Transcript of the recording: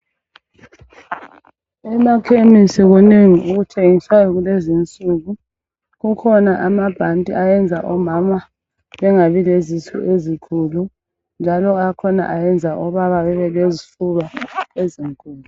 Emakhemisi kunengi okuthengiswayo kulezi insuku. Kukhona amabhanti ayenza omama bengabi lezisu ezikhulu, njalo akhona ayenza obaba bebelezifuba ezinkulu.